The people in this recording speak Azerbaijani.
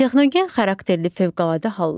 Texnogen xarakterli fövqəladə hallar.